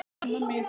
Jæja amma mín.